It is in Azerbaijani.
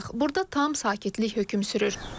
Burda tam sakitlik hökm sürür.